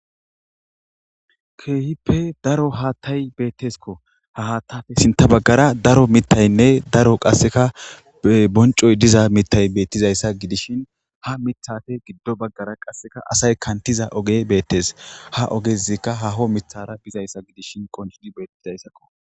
Kehippe daro hatayi betesko, ha haysappe sinta bagara daro mitayonne daro qaseka boncoyi diza mitayo beetizaysa gidishin, ha mithappe giddo bagara qase assayi kanitza ogeyi beetesi, ha ogezika haaho mithara bizaysa gidishin qoncidi beetesi.